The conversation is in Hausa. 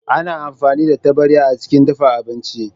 Ana amfani da taɓarya a cikin dafa abinci.